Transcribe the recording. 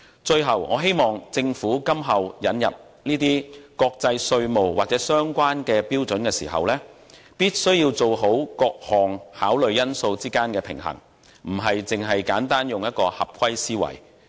最後，我希望政府今後引入國際稅務或相關標準時，好好在各項考慮因素之間取得平衡，而非簡單地以"合規思維"行事。